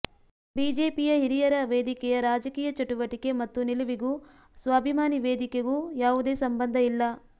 ಬಿಜೆಪಿಯ ಹಿರಿಯರ ವೇದಿಕೆಯ ರಾಜಕೀಯ ಚಟುವಟಿಕೆ ಮತ್ತು ನಿಲುವಿಗೂ ಸ್ವಾಭಿಮಾನಿ ವೇದಿಕೆಗೂ ಯಾವುದೇ ಸಂಬಂಧ ಇಲ್ಲ